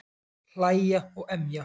Hlæja og emja.